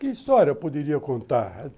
Que história eu poderia contar?